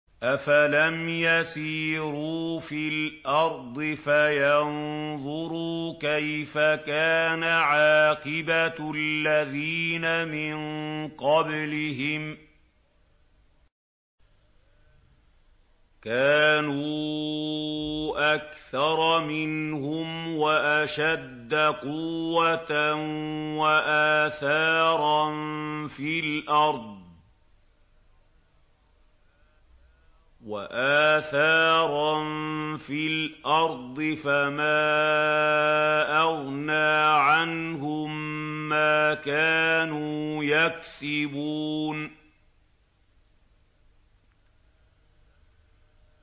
أَفَلَمْ يَسِيرُوا فِي الْأَرْضِ فَيَنظُرُوا كَيْفَ كَانَ عَاقِبَةُ الَّذِينَ مِن قَبْلِهِمْ ۚ كَانُوا أَكْثَرَ مِنْهُمْ وَأَشَدَّ قُوَّةً وَآثَارًا فِي الْأَرْضِ فَمَا أَغْنَىٰ عَنْهُم مَّا كَانُوا يَكْسِبُونَ